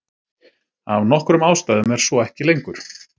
Af nokkrum ástæðum er svo ekki lengur.